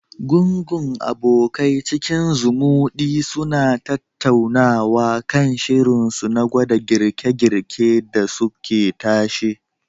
Gungun abokai cikin zumuɗi suna tattaunawa kan shirinsu na gwada girke-girke dasu ke tashe.